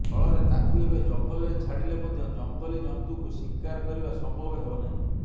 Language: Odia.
ଫଳରେ ତାକୁ ଏବେ ଜଙ୍ଗଲରେ ଛାଡିଲେ ମଧ୍ୟ ଜଙ୍ଗଲୀ ଜନ୍ତୁକୁ ଶିକାର କରିବା ସମ୍ଭବ ହେବ ନାହିଁ